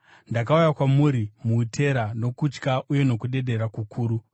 Ndakauya kwamuri muutera nokutya uye nokudedera kukuru.